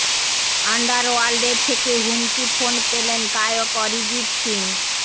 under ওয়ার্ল্ডের থেকে হুমকি ফোন পেলেন গায়ক অরিজিৎ সিং